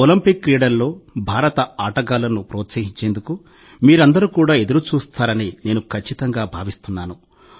Olympic క్రీడల్లో భారత ఆటగాళ్లను ప్రోత్సహించేందుకు మీరందరూ కూడా ఎదురు చూస్తారని నేను ఖచ్చితంగా భావిస్తున్నాను